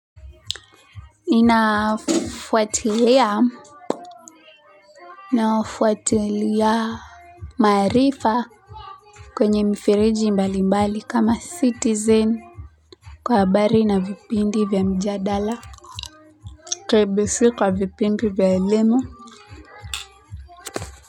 Ninafuatilia ninafuatilia maarifa kwenye mifereji mbali mbali kama Citizen kwa habari na vipindi vya mijadala KBC kwa vipindi vya elimu.